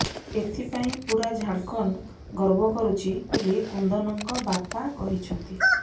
ଏଥିପାଇଁ ପୂରା ଝାଡ଼ଖଣ୍ଡ ଗର୍ବ କରୁଛି ବୋଲି କୁନ୍ଦନଙ୍କ ବାପା କହିଛନ୍ତି